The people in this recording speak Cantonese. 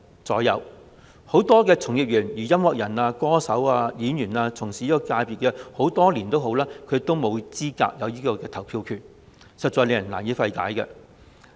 該界別很多從業員，例如音樂人、歌手和演員等，從事這產業的工作多年，但沒有投票資格和權利，實在令人難以理解。